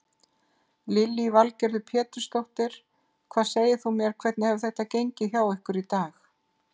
Lillý Valgerður Pétursdóttir: Hvað segir þú mér hvernig hefur þetta gengið hjá ykkur í dag?